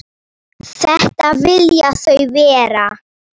Upphaf sögu hans.